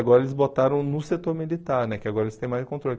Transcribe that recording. Agora eles botaram no setor militar, né que agora eles têm mais controle.